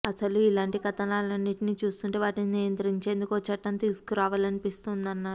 అసలు ఇలాంటి కథనాలన్నింటినీ చూస్తుంటే వాటిని నియంత్రించేందుకు ఓ చట్టం తీసుకురావాలనిపిస్తోందన్నారు